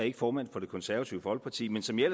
ikke formand for det konservative folkeparti men som jeg